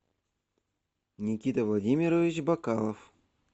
никита владимирович бокалов